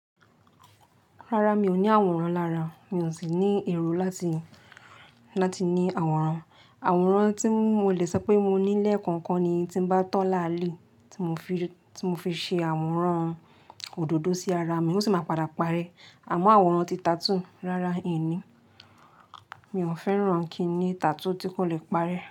Rárá, mi ò ní àwòrán lára, mi ò sì ní èrò láti, láti ní àwòrán. Àwòrán tí mo lè sọ pé mo ní lẹ́ẹ̀kan kan ni tí bá tọ́ láàlẹ́, tí mo fi, tí mo fi ṣe àwòrán òdòdó sí ara mi, ó sì máa padà parẹ́. Àmọ́ àwòrán ti tattoo, rárá mi ò ní, mi ò fẹ́ràn kí ní tattoo tí kò le parẹ́.